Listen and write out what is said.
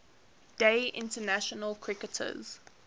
day international cricketers